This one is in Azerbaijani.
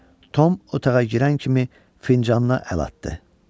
Tom otağa girən kimi fincanla əl atdı.